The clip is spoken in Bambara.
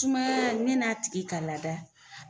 Tumaya yan'a tigi ka lada.